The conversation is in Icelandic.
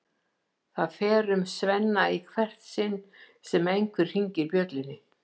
Það fer um Svenna í hvert sinn sem einhver hringir bjöllunni.